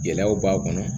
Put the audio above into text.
Gɛlɛyaw b'a kɔnɔ